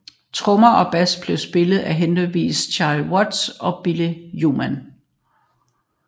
Trommer og bass blev spillet af henholdsvis Charlie Watts og Bill Wyman